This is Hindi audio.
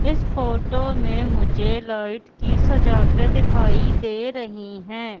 इस फोटो में मुझे लाइट की सजावटें दिखाई दे रही हैं।